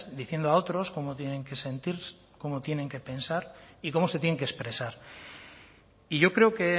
diciendo a otros cómo tienen que sentir cómo tienen que pensar y cómo se tienen que expresar y yo creo que